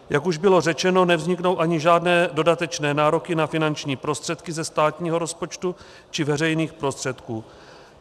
Jak už bylo řečeno, nevzniknou ani žádné dodatečné nároky na finanční prostředky ze státního rozpočtu či veřejných prostředků.